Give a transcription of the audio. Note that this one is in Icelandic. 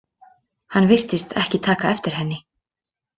Hann virtist ekki taka eftir henni.